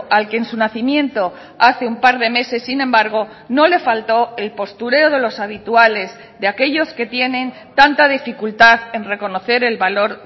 al que en su nacimiento hace un par de meses sin embargo no le faltó el postureo de los habituales de aquellos que tienen tanta dificultad en reconocer el valor